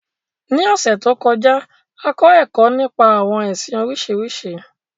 Ní ọ̀sẹ̀ to kọjá, a kọ ẹkọ nípa àwọn ẹsìn Oríṣiríṣi.